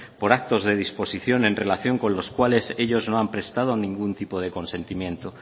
por actos de disposición en relación con los cuales ellos no han prestado ningún tipo de consentimiento